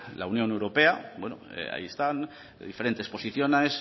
la unión europea bueno ahí están diferentes posiciones